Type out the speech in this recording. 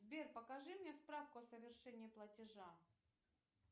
сбер покажи мне справку о совершении платежа